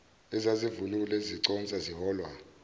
ezazivunule ziconsa ziholwa